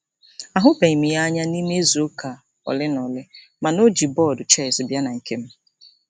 A hụbeghị m ya anya n'ime izuụka ole na ole, ma na o jiri bọọdụ chess bịa na nkem.